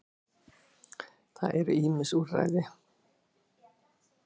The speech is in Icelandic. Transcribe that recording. Það eru ýmis úrræði.